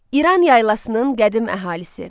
İran yaylasının qədim əhalisi.